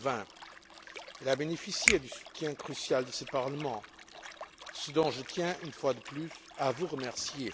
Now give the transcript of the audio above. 2020. Elle a bénéficié du soutien crucial de ce Parlement, ce dont je tiens une fois de plus à vous remercier.